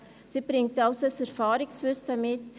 Sie bringt also ein Erfahrungswissen mit.